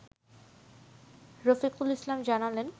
রফিকুল ইসলাম জানালেন